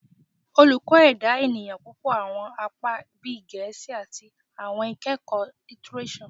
Oluko Eda Eniyan pẹlu awọn apa bii Gẹẹsi ati Awọn Ikẹkọ Litireso